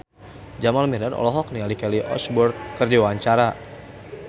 Jamal Mirdad olohok ningali Kelly Osbourne keur diwawancara